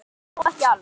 Og þó ekki alveg.